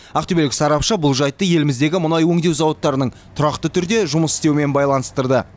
ақтөбелік сарапшы бұл жайтты еліміздегі мұнай өңдеу зауыттарының тұрақты түрде жұмыс істеуімен байланыстырды